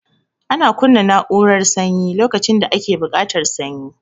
Ana kunna na'urara sanyi lokacin da ake buƙatar sanyi